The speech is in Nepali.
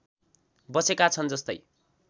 बसेका छन् जस्तै